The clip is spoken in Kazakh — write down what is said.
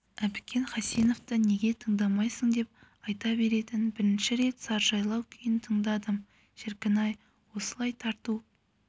әбікен хасеновті неге тыңдамайсың деп айта беретін бірінші рет сарыжайлау күйін тыңдадым шіркін-ай осылай тарту